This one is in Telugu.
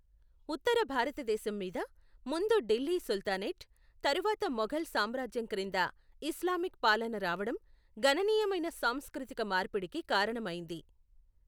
ఉత్తర భారతదేశం మీద ముందు ఢిల్లీ సుల్తానేట్ తరువాత మొఘల్ సామ్రాజ్యం క్రింద ఇస్లామిక్ పాలన రావడం, గణనీయమైన సాంస్కృతిక మార్పిడికి కారణమైంది.